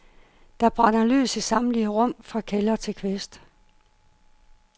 Der brænder lys i samtlige rum, fra kælder til kvist.